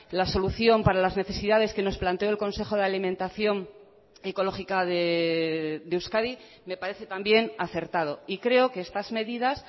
la solución para las necesidades que nos planteó el consejo de alimentación ecológica de euskadi me parece también acertado y creo que estas medidas